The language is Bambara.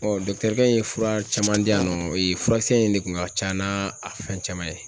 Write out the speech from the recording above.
in ye fura caman di yan nɔ furakisɛ in de kun ka can n'a a fɛn caman ye.